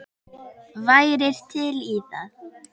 Værirðu til í það?